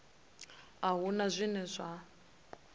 a hu na zwine zwa